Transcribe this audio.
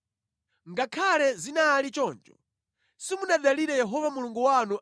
Ngakhale zinali choncho, simunadalire Yehova Mulungu wanu